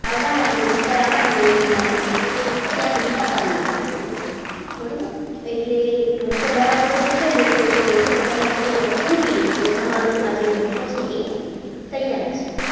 આવા લાગે ઉપર આવવા માંડે કિનારી ત્યાં સુધી પકાવી લેવાની બરાબર એટલે ઢોસો બરાબર શેકાઈ જશે એ ઢોસો પોતાની મૂકી દેશે એટલે તમારો આ ઢોસો છે એ તૈયાર છે.